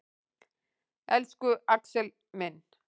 Elsku Axel minn.